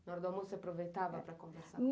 Na hora do almoço, você aproveitava para conversar?